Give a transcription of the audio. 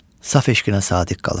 Saf eşqinə sadiq qalır.